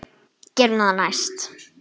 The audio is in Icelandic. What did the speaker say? Gerum það næst.